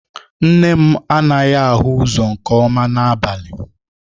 Nne m anaghị ahụ ụzọ nke ọma n'abalị